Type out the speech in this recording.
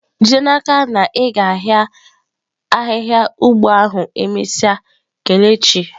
Jide n'aka na i ga-ahia ahihia ugbo ahu emesia kelechi.